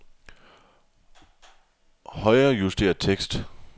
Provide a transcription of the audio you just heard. Højrejuster tekst.